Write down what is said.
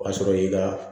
O y'a sɔrɔ y'i ka